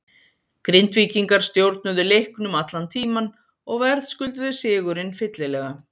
Grindvíkingar stjórnuðu leiknum allan tímann og verðskulduðu sigurinn fyllilega.